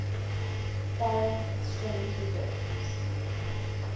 foreign exchange reserves